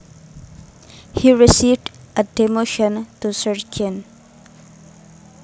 He received a demotion to sergeant